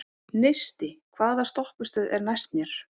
Neisti, hvaða stoppistöð er næst mér?